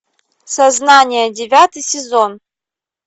сознание девятый сезон